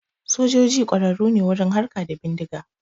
Sojoji ƙwararru ne wurin harka da bindiga